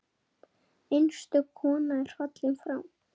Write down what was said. Einstök kona er fallin frá.